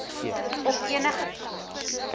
op enige plek